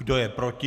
Kdo je proti?